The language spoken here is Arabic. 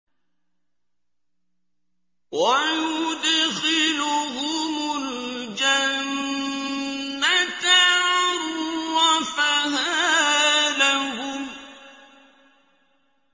وَيُدْخِلُهُمُ الْجَنَّةَ عَرَّفَهَا لَهُمْ